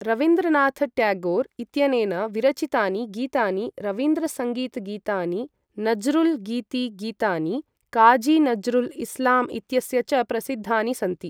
रवीन्द्रनाथ ट्यागोर् इत्यनेन विरचितानि, गीतानि रवीन्द्रसङ्गीत् गीतानि, नज़्रुल् गीति गीतानि काजी नज़्रुल् इस्लाम् इत्यस्य च प्रसिद्धानि सन्ति।